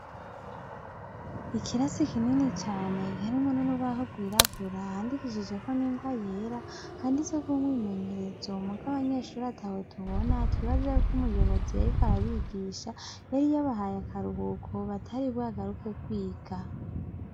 Ikirasi kinini cane harimwo n'urubaho gwirabura handikishijeko n'ingwa yera handitseko umwimenyerezo muga abanyeshure atabo tubona twibaza yuko umuyobozi yariko arabigisha yari yabahaye akaruhuko batari bwagaruke kwiga.